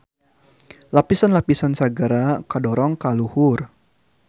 Lapisan-lapisan sagara kadorong ka luhur.